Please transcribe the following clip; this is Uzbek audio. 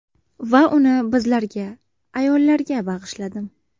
Va uni bizlarga, ayollarga bag‘ishladim!